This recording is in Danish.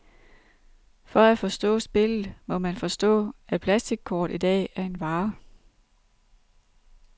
For at forstå spillet, må man forstå, at plastickort i dag er en vare.